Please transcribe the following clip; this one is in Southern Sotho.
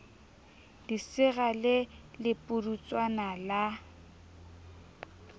lesira le le pudutswana la